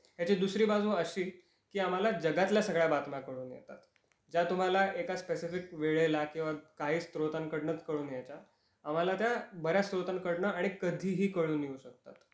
याची दुसरी बाजू अशी, की आम्हाला जगातल्या सगळ्या बातम्या कळून येतात. ज्या तुम्हाला एका स्पेसिफिक वेळेला किंवा काही स्रोतांकडनच कळून यायच्या, आम्हाला त्या बऱ्याच स्रोतांकडन आणि कधीही कळून येऊ शकतात.